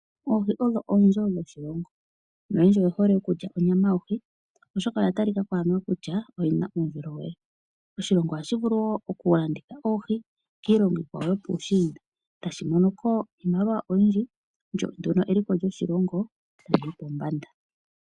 Oohi odho oonzo dhoshilongo noyendji oye hole okulya onyama yohi oshoka oya talikako aniwa kutya oyi na uundjolowele. Oshilongo oha shi vulu wo okulanditha oohi kiilongo iikwawo yopuushinda tashi mono ko iimaliwa oyindji lyo eliko lyoshilongo tali yi pombanda.